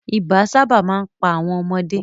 Ibà sábà máa ń pa àwọn ọmọdé